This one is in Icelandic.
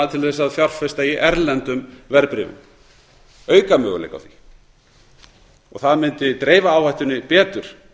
til þess að fjárfesta í erlendum verðbréfum auka möguleika á því það mundi dreifa áhættunni betur